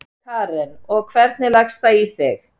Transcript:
Karen: Og, hvernig leggst það í þig?